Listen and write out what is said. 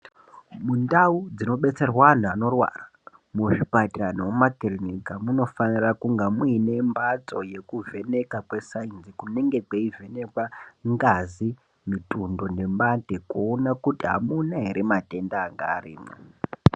Mundau dzinodetserwa anhu vanorwara ,muzvipatara nemumakilinika munofanira kunga muine mbatso yekuvheneka kwesayinsi kunenge kuyivhenekwa ngazi ,mitundo nempande kuwona kuti hamuna here matenda angaarimo.